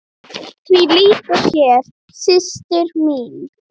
Því lýkur hér, systir mín.